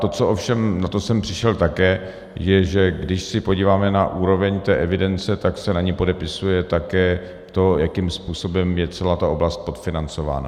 To, co ovšem, na to jsem přišel také, je, že když se podíváme na úroveň té evidence, tak se na ní podepisuje také to, jakým způsobem je celá ta oblast podfinancována.